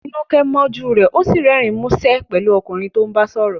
Tinuke mọ́jú rẹ, ó sì rẹ́rìn-ín músẹ́ pẹ̀lú ọkùnrin tó ń bá sọ̀rọ̀.